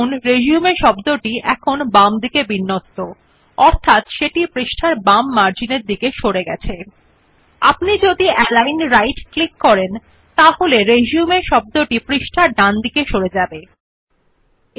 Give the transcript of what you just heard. আপনি যে শব্দ রিসিউম হল বামে নিরপেক্ষ অর্থাত্ এটা ডকুমেন্টের পৃষ্ঠার বাম মার্জিন প্রতি দেখতে পাবেন S যদি আমরা উপর অ্যালিগন রাইট ক্লিক করুন আপনি যে শব্দ রিসিউম বর্তমানে পৃষ্ঠার ডান হয় প্রান্তিককৃত দেখতে পাবেন